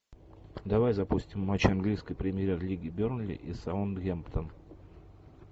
давай запустим матч английской премьер лиги бернли и саутгемптон